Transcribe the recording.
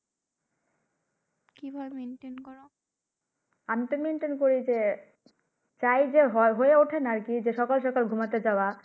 আমি maintain করি যে চাই যে হয়ে উঠা হয় না আর কি সকাল সকাল ঘুমাতে যাওয়া।